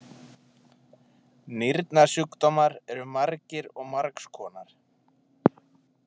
Nýrnasjúkdómar eru margir og margs konar.